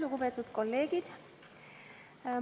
Lugupeetud kolleegid!